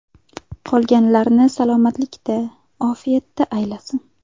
Qolganlarini salomatlikda, ofiyatda aylasin!